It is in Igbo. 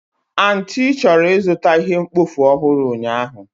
Aunty chọrọ ịzụta ihe mkpofu ọhụrụ ụnyahụ.